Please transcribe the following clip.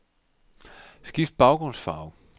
Skift baggrundsfarve.